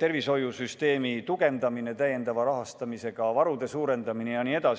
tervishoiusüsteemi tugevdamine täiendavate summadega, varude suurendamine jne.